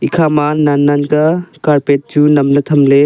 ekhama nan-nan kia carpet chu namley thamley.